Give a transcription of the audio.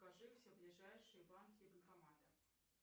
покажи все ближайшие банки и банкоматы